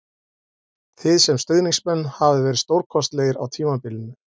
Þið sem stuðningsmenn hafið verið stórkostlegir á tímabilinu